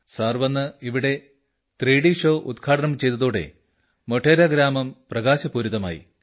sir വന്ന് ഇവിടെ 3D show ഉദ്ഘാടനം ചെയ്തതോടെ മോഢേരാഗ്രാമം പ്രകാശപൂരിതമായി